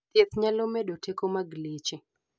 thieth nyalo medo teko mag leche